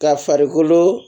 Ka farikolo